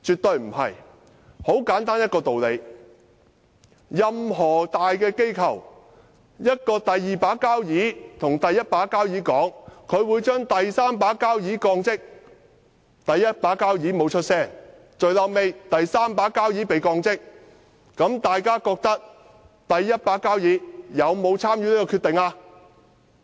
道理很簡單，任何大機構的"第二把交椅"如果對"第一把交椅"說，他會把"第三把交椅"降職，但"第一把交椅"不作聲，最終"第三把交椅"真的被降職，大家認為"第一把交椅"有沒有參與這項決定？